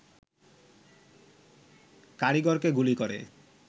কারিগরকে গুলি করে